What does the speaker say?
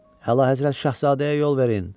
Həlazadə Şahzadəyə yol verin.